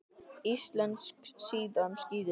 Íslensk síða um skíði